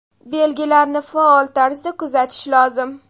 Belgilarni faol tarzda kuzatish lozim.